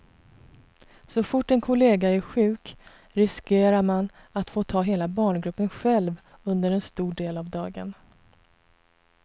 Så fort en kollega är sjuk riskerar man att få ta hela barngruppen själv under en stor del av dagen.